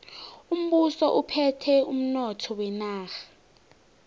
umbuso uphethe umnotho wenarha